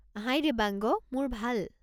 হাই দেৱাংগ! মোৰ ভাল।